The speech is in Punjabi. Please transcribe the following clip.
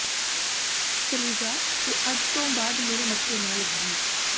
ਚਲੀ ਜਾ ਤੇ ਅੱਜ ਤੋਂ ਬਾਅਦ ਮੇਰੇ ਮੱਥੇ ਨਾ ਲੱਗੀ